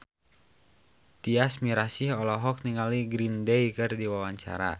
Tyas Mirasih olohok ningali Green Day keur diwawancara